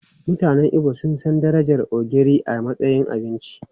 Mutanen Igbo sun san darajar ogiri a matsayin abinci.